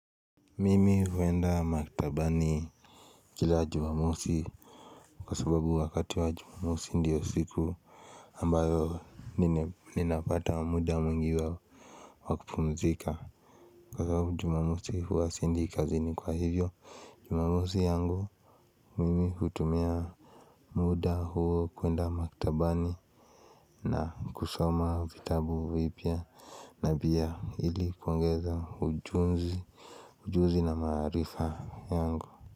Mimi huendaa maktabani kila jumamosi Kwa sababu wakati wa jumamosi ndio siku ambayo ninapata muda mwingi wa wakupumzika. Kwa sababu jumamosi huwa siendi kazini kwa hivyo Jumamosi yangu mimi hutumia muda huo kwenda maktabani na kusoma vitabu vipya na pia ili kuongeza ujuzi Ujuzi na maarifa yangu.